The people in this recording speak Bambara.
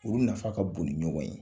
Olu nafa ka bon ni ɲɔgɔn ye.